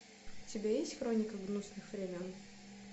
у тебя есть хроника грустных времен